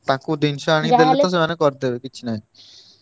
ତାଙ୍କୁ ଜିନିଷ ଆଣି ଦେଲେ ତ ସେମାନେ କରିଦେବେ କିଛି ନାଇଁ।